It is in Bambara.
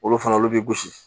Olu fana olu bɛ gosi